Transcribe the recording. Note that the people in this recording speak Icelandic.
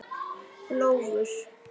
Bjólfur